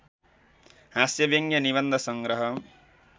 हास्यव्यङ्ग्य निबन्ध सङ्ग्रह